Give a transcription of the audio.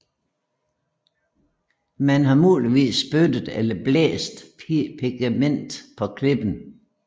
Man har muligvis spyttet eller blæst pigmentet på klippen